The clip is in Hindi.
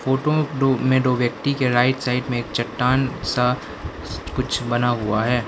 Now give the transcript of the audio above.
फोटो टो में दो व्यक्ति के राइट साइड में चट्टान सा कुछ बना हुआ है।